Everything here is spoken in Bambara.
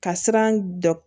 Ka siran dɔ